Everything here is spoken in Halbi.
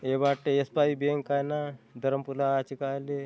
ए बाटे असपाई बैंक आय ना धरमपुरा आचे कायले --